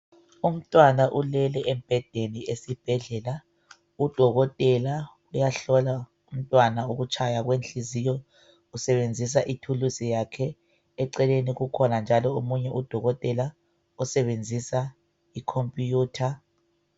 Umntwanna ulele embhedeni esibhedlela .Udokotela uyahlola umntwana ukutshaya kwenhliziyo usebenzisa ithuluzi yakhe .Eceleni kukhona njalo omunye udokotela osebenzisa I computer